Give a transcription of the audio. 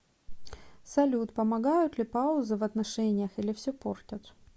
салют помогают ли паузы в отношениях или все портят